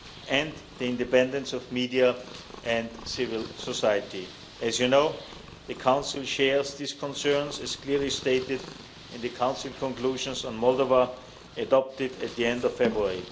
elections, and the independence of media and civil society. As you know, the Council shares these concerns, as clearly stated in the Council Conclusions on Moldova adopted at the end of